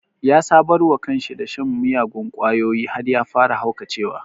Ya sabarwa kanshi da shan miyagun ƙwayoyi har ya fara haukacewa